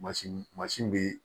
Mansin mansin bɛ yen